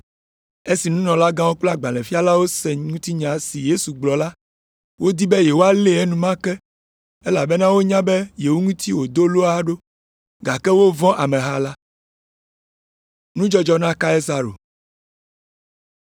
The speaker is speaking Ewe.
Esi nunɔlagãwo kple agbalẽfialawo se ŋutinya si Yesu gblɔ la, wodi be yewoalée enumake elabena wonya be yewo ŋutie wòdo loa ɖo, gake wovɔ̃ ameha la.